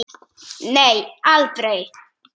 Nei, aldrei.